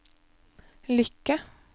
lykke